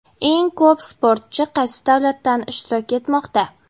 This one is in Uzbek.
Eng ko‘p sportchi qaysi davlatdan ishtirok etmoqda?